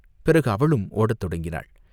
பிறகு அவளும் ஓடத் தொடங்கினாள்.